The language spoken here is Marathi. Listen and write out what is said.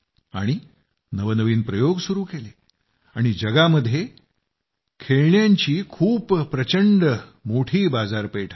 आणि नवनवीन प्रयोग सुरू केले आणि जगामध्ये खेळण्यांचं खूप प्रचंड मोठी बाजारपेठ आहे